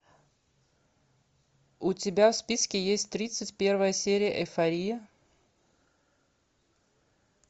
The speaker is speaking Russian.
у тебя в списке есть тридцать первая серия эйфория